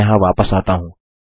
मैं यहाँ वापस आता हूँ